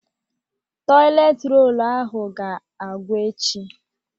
Tọịlet rolu ahụ ga-agwụ echi.